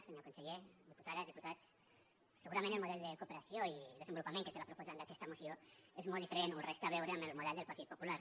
senyor conseller diputades diputats segurament el model de cooperació i desenvolupament que té la proposant d’aquesta moció és molt diferent o res té a veure amb el model del partit popular